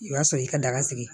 O y'a sɔrɔ i ka daga sigi